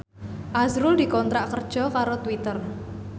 azrul dikontrak kerja karo Twitter